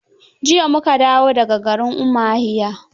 Jiya mu ka dawo da ga garin Umahiya.